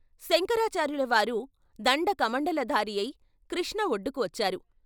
శంకరాచార్యులవారు దండ కమండలధారియై కృష్ణ ఒడ్డుకు వచ్చారు.